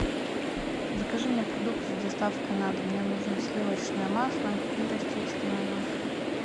закажи мне продукты с доставкой на дом мне нужно сливочное масло и растительное масло